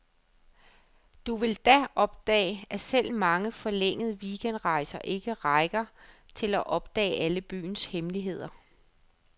Du vil da opdage, at selv mange forlængede weekendrejser ikke rækker til at opdage alle byens hemmeligheder.